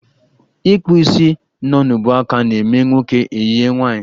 Ịkpụ isi nọ n'ubuaka na-eme nwoke e yie nwaanyị